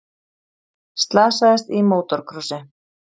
Slasaðist í mótorkrossi